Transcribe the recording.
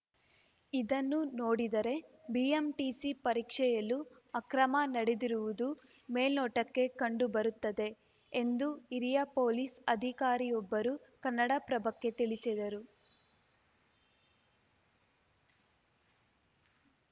ಇದನ್ನು ನೋಡಿದರೆ ಬಿಎಂಟಿಸಿ ಪರೀಕ್ಷೆಯಲ್ಲೂ ಅಕ್ರಮ ನಡೆದಿರುವುದು ಮೇಲ್ನೋಟಕ್ಕೆ ಕಂಡು ಬರುತ್ತದೆ ಎಂದು ಹಿರಿಯ ಪೊಲೀಸ್‌ ಅಧಿಕಾರಿಯೊಬ್ಬರು ಕನ್ನಡಪ್ರಭಕ್ಕೆ ತಿಳಿಸಿದರು